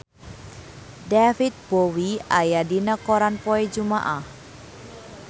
David Bowie aya dina koran poe Jumaah